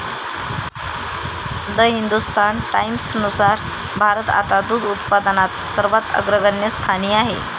The Hindustan टाईम्सनुसार भारत आता दूध उत्पादनात सर्वात अग्रगण्य स्थानी आहे.